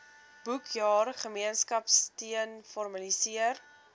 boekjaar gemeenskapsteun formaliseer